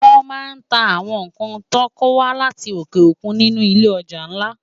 Wòn má n tá áwòn nkán tò kówá láti óké ókún ninú ilé òjá nlá